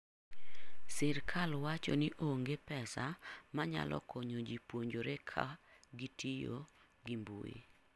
Sirkal wacho ni onge pesa manyalo konyo ji puonjore ka kitio gi mbui.